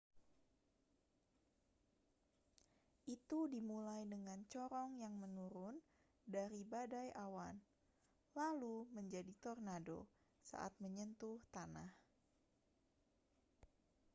itu dimulai dengan corong yang menurun dari badai awan lalu menjadi tornado saat menyentuh tanah